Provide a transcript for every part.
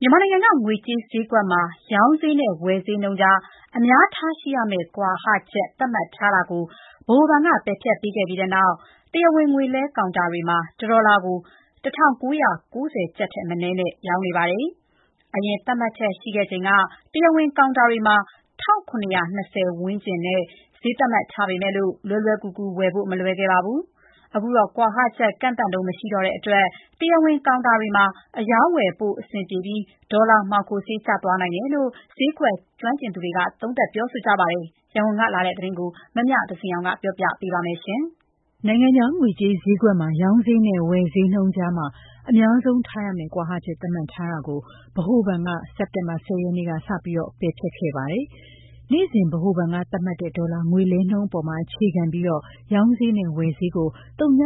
မြန်မာနိုင်ငံက ငွေကြေးဈေးကွက်မှာ ရောင်းဈေးနဲ့ ဝယ်ဈေးနှုန်းကြား အများဆုံးထားရှိရမယ့်ကွာဟချက် သတ်မှတ်ထားတာကို ဗဟိုဘဏ်က ပယ်ဖျက်ပေးခဲ့ပြီးနောက် တရားဝင်ငွေလွှဲကောင်တာတွေမှာ ၁ ဒေါ်လာကို ၁၉ ၉ ၀ ကျပ်ထက် မနည်းနဲ့ ရောင်းနေပါတယ်။ အရင်သတ်မှတ်ချက်ရှိချိန်က တရားဝင်ကောင်တာတွေမှာ ၁၇၂၀ ကျပ်ဝန်းကျင်နဲ့ ဈေးသတ်မှတ်ပေမဲ့ လွယ်လွယ်ကူကူ ဝယ်ဖို့ မလွယ်ခဲ့ပါဘူး။ အခုတော့ ကွာဟချက်ကန့်သတ်နှုန်း မရှိတော့တဲ့အတွက် တရားဝင်ကောင်တာတွေမှာ အရောင်းအဝယ် ပိုအဆင်ပြေပြီး ဒေါ်လာမှောင်ခိုဈေး ကျသွားနိုင်တယ်လို့ ဈေးကွက်ကျွမ်းကျင်သူတွေက သုံးသပ်ပါတယ်။ ရန်ကုန်ကလာတဲ့သတင်းကို မမြသဇင်အောင်ပြောပြမှာပါ။ နိုင်ငံခြားငွေကြေးဈေးကွက်မှာ ရောင်းဈေးနဲ့ ဝယ်ဈေးနှုန်းအကြား အများဆုံးထားရမယ့် ကွာဟချက် သတ်မှတ်ထားတာကို ဗဟိုဘဏ်က စက်တင်ဘာ ၁၀ ရက်နေ့က စတင် ပယ်ဖျက်ခဲ့ပါတယ်။ နေ့စဉ်ဗဟိုဘဏ်က သတ်မှတ်တဲ့ ဒေါ်လာငွေလဲနှုန်းပေါ် အခြေခံပြီး ရောင်းဈေးနဲ့ ဝယ်ဈေးကို ဝ.၈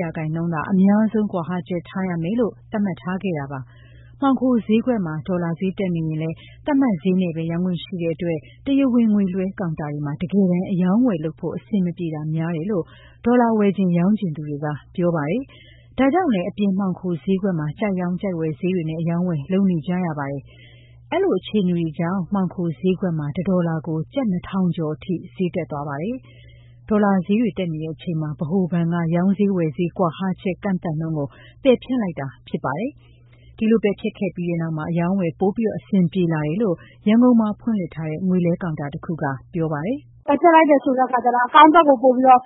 ရာခိုင်နှုန်းသာ အများဆုံး ကွာဟချက်ထားရမယ်လို့ သတ်မှတ်ခဲ့တာပါ။ မှောင်ခိုဈေးကွက်မှာ ဒေါ်လာဈေး တက်နေရင်လည်း သတ်မှတ်ဈေးနဲ့သာ ရောင်းခွင့်ရှိခဲ့တဲ့အတွက် တရားဝင်ငွေလွှဲကောင်တာတွေမှာ တကယ်တမ်း အရောင်းအဝယ်လုပ်ဖို့ အဆင်မပြေတာများတယ်လို့ ဒေါ်လာ ဝယ်ချင် ရောင်းချင်သူတွေက ပြောပါတယ်။ ဒါကြောင့်လဲ အပြင်မှောင်ခိုဈေးကွက်မှာ ကြိုက်ရောင်း ကြိုက်ဝယ်ဈေးတွေနဲ့ အရောင်းအဝယ်လုပ်နေကြရတာပါ။ အဲဒီလို အခြေအနေကြောင့် မှောင်ခိုဈေးကွက်မှာ ၁ ဒေါ်လာကို ကျပ် ၂၀၀၀ ကျော်အထိ ဈေးတက်သွားခဲ့ပါတယ်။ ဒေါ်လာဈေးတွေတက်နေချိန်မှာ ဗဟိုဘဏ်က ရောင်းဈေး ဝယ်ဈေး ကွာဟချက်ကန့်သတ်နှုန်းကို ပယ်ဖျက်လိုက်တာဖြစ်ပါတယ်။ ဒီလို ပယ်ဖျက်ခဲ့ပြီးနောက် အရောင်းအဝယ် ပိုပြီးအဆင်ပြေလာတယ်လို့ ရန်ကုန်မှာဖွင့်လှစ်ထားတဲ့ ငွေလဲကောင်တာတခုက ပြောပါတယ်။ "ပယ်ဖျက်လိုက်တယ်ဆိုတဲ့ အခါကျတော့ ပိုပြီးတော့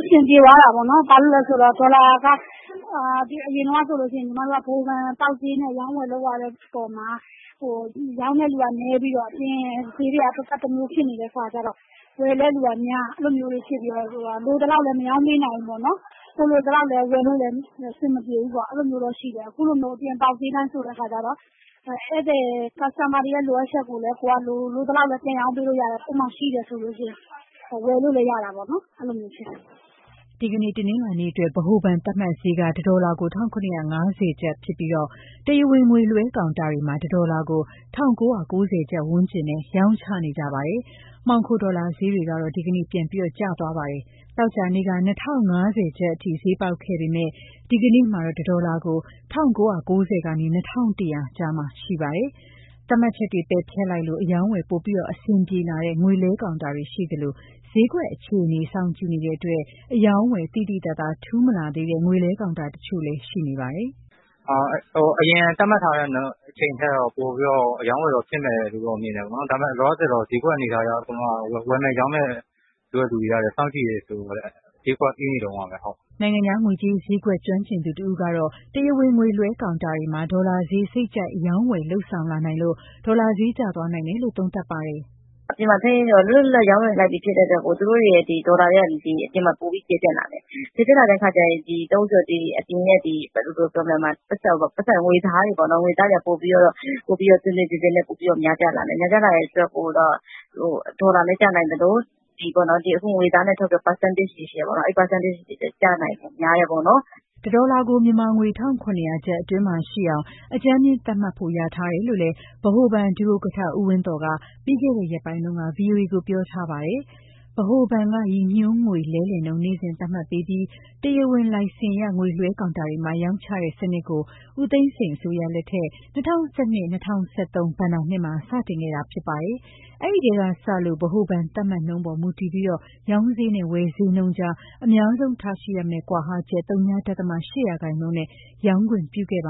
အဆင်ပြေသွားတာပေါ့နော်။ ဘာဖြစ်လို့လဲဆိုတော့ ဒေါ်လာက အရင်တုန်းကဆိုရင် ညီမတို့က ဗဟိုဘဏ်ပေါက်ဈေးနဲ့ အရောင်းအဝယ်လုပ်ရတဲ့ အခါမှာ ရောင်းတဲ့သူကနည်းပြီးတော့ အပြင်ဈေးတွေက သပ်သပ်တမျိုးဖြစ်နေတဲ့ အခါကျတော့ ဝယ်တဲ့သူကများပြီး လိုသလောက်လည်း မရောင်းပေးနိုင်ဘူးပေါ့နော်။ ကိုယ်လိုသလောက်လည်း ဝယ်လို့တော့အဆင်မပြေဘူးပေါ့။ အခုလိုမျိုး အပြင်ပေါက်ဈေးအတိုင်းဆိုတော့ Customer တွေရဲ့ လိုအပ်ချက်ကိုလည်း လိုသလောက် ကိုယ့်မှာရှိတယ်ဆိုရင် ပြန်ရောင်းပေးလို့ရတယ်။ ဝယ်လို့လည်း ရတာပေါ့နော်။" ဒီနေ့ တနင်္လာနေ့အတွက် ဗဟိုဘဏ်ရဲ့ သတ်မှတ်ဈေးက တဒေါ်လာ ၁,၇၅၀ ကျပ်ဖြစ်ပြီး တရားဝင်ငွေလွဲှကောင်တာတွေမှာ ၁ ဒေါ်လာကို ၁၉ ၉ ၀ ကျပ် ဝန်းကျင်နဲ့ ရောင်းချနေကြပါတယ်။ မှောင်ခိုဒေါ်လာဈေးတွေတော့ ဒီနေ့ ပြန်ကျသွားပါတယ်။ သောကြာနေ့က ၂၀၅၀ ကျပ်အထိ ဈေးပေါက်ခဲ့ပေမဲ့ ဒီကနေ့မှာတော့ တဒေါ်လာကို ၁,၉၉၀ ကနေ ၂,၁၀၀ ကျပ် အထိပြန်ကျသွားခဲ့ပါတယ်။ သတ်မှတ်ချက်တွေ ပယ်ဖျက်လိုက်လို့ အရောင်းအဝယ်ပိုအဆင်ပြေလာတဲ့ ငွေလဲကောင်တာတွေရှိနေသလို ဈေးကွက်အခြေအနေကို စောင့်ကြည့်နေတဲ့အတွက် အရောင်းအဝယ် သိသိသာသာ ထူးခြားမလာသေးတဲ့ ငွေလဲကောင်တာတချို့လည်း ရှိနေပါတယ်။ "အရင်က သတ်မှတ်ထားတဲ့အချိန်ထက်တော့ ပိုပြီးတော့ အရောင်းအဝယ်ဖြစ်မယ်လို့တော့ မြင်တယ်ပေါ့နော်။ ဒါပေမယ့် လောလောဆယ်တော့ ဈေးကွက်အနေအထားအရ ဝယ်မယ် ရောင်းမယ်ဆိုတဲ့ သူတွေကလည်း စောင့်ကြည့်နေတုန်းဆိုတော့ ဈေးကွက်အေးနေတုန်းပါပဲ။" နိုင်ငံခြားငွေကြေး ဈေးကွက်ကျွမ်းကျင်သူတဦးကတော့ တရားဝင်ငွေလွှဲကောင်တာတွေမှာ ဒေါ်လာဈေး စိတ်ကြိုက်အရောင်းအဝယ်လုပ်ဆောင်လာနိုင်လို့ ဒေါ်လာဈေးကျသွားနိုင်တယ်လို့သုံးသပ်ပါတယ်။ "အပြင်မှာ လွတ်လွတ်လပ်လပ် ရောင်းဝယ်နိုင်ပြီ ဖြစ်တဲ့အတွက် ဒေါ်လာတွေက အပြင်မှာပိုပြီး ကျယ်ပြန့်လာတယ်။ ကျယ်ပြန့်လာတဲ့အတွက် ငွေသားတွေက တွင်တွင်ကျယ်ကျယ် များပြားလာနိုင်တယ်။ များပြားလာတော့ ဒေါ်လာလည်း ကျလာနိုင်သလို အခုငွေသားထုတ်ရင် ရာခိုင်နှုန်းပေးရတာတွေ ရှိတယ်။ အဲဒီ ရာခိုင်နှုန်းပေးရတဲ့ နှုန်းတွေလည်း ကျနိုင်ဖို့ များတယ်။" တဒေါ်လာကို မြန်မာငွေ ၁,၇၀၀ ကျပ် အတွင်းမှာရှိအောင် အကြမ်းဖျဉ်းသတ်မှတ်ဖို့ လျာထားတယ်လို့လည်း ဗဟိုဘဏ် ဒုဥက္ကဋ္ဌ ဦးဝင်းသော်က ပြီးခဲ့တဲ့ ရက်ပိုင်းတုန်းက VOA ကိုပြောထားပါတယ်။ ဗဟိုဘဏ်က ရည်ညွန်းငွေလဲလှယ်နှုန်း နေ့စဉ်သတ်မှတ်ပေးပြီး တရားဝင်လိုင်စင်ရ ငွေလွှဲကောင်တာတွေမှာ ရောင်းချတဲ့ စနစ်ကို ဦးသိန်းစိန်အစိုးရလက်ထက် ၂၀၁၂-၂၀၁၃ ဘဏ္ဍာနှစ်မှာ စတင်ခဲ့တာဖြစ်ပါတယ်။ အဲဒီထဲကစလို့ ဗဟိုဘဏ်သတ်မှတ်နှုန်းပေါ်မူတည်ပြီး ရောင်းဈေးနဲ့ ဝယ်ဈေးနှုန်းကြား အများဆုံးထားရှိရမယ့် ကွာဟချက် ဝ.၈% နဲ့ရောင်းခွင့်ပြုခဲ့ပါ